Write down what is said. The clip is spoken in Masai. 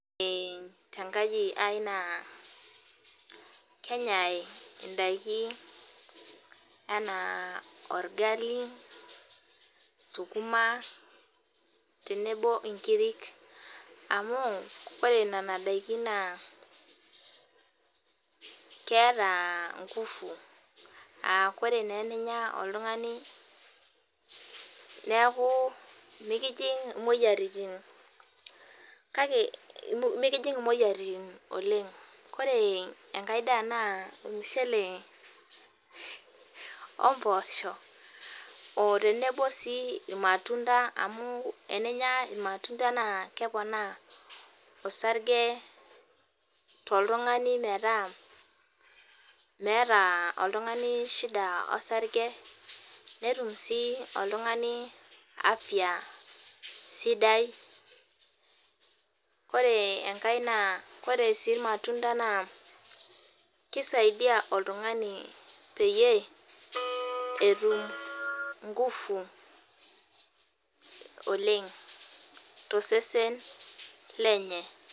Ore te nkaji aii naa kenyae idakin enaa orgali sukuma tenebo inkirik amu koree nena daikin naa ketaa ngufu. Aa kore naa teninya oltung'ani neeku mikitii imoyiaritin. Kake mikining' imoyiaritin oleng'. Ors enkae daa naa ormushele omposho oo tenebo sii irmatunda amu teninya irmatunda naa kepona orasage toltung'ani meeta meeta oltung'ani shida orsage netum sii oltung'ani afya sidai. Koree enkae naa oree sii irmatunda naa kesaidai oltung'ani pee etum ingufu oleng' too sesen lenye.